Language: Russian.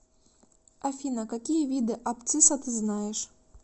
афина какие виды абцисса ты знаешь